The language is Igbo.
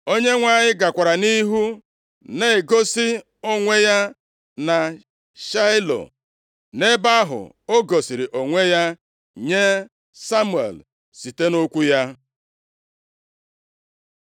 Onyenwe anyị gakwara nʼihu na-egosi onwe ya na Shaịlo. Nʼebe ahụ o gosiri onwe ya nye Samuel site nʼokwu ya.